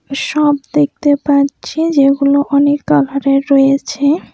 সব দেখতে পাচ্ছি যেগুলো অনেক কালারের রয়েছে।